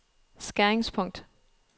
skæringspunkt